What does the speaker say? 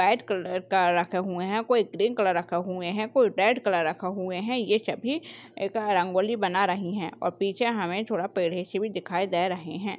White colour का रखा हुआ है कोई ग्रीन कलर रखा हुआ है कोई रेड कलर रखा हुआ है ये सभी एक रंगोली बना रही है और पीछे हमे थोड़ा पेड भी दिखाई दे रहे है।